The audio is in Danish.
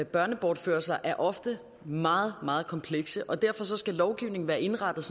børnebortførelser er ofte meget meget komplekse og derfor skal lovgivningen være indrettet